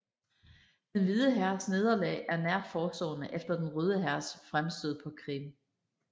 Den Hvide Hærs nederlag er nært forestående efter Den Røde Hærs fremstød på Krim